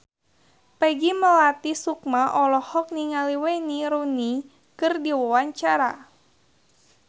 Peggy Melati Sukma olohok ningali Wayne Rooney keur diwawancara